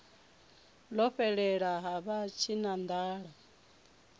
ḽo fhelela ha vha tshinanḓala